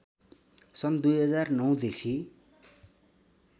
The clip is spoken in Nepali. सन् २००९ देखि